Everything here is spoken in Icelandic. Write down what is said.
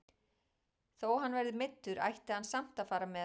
Þó hann verði meiddur ætti hann samt að fara með.